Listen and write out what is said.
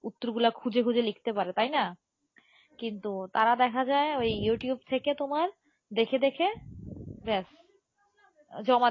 উত্তর গুলো খুঁজে খুঁজে লিখতে পারে তাই না কিন্তু তারা দেখা যায় ওই ইউটিউব থেকে তোমার দেখে দেখে ব্যাস জমা দিয়ে,